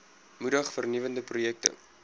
moedig vernuwende projekte